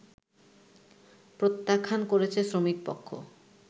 প্রত্যাখ্যান করেছে শ্রমিকপক্ষ